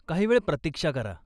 काही वेळ प्रतीक्षा करा.